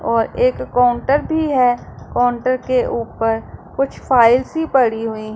और एक काउंटर भी है काउंटर के ऊपर कुछ फाइल्स ही पड़ी हुई--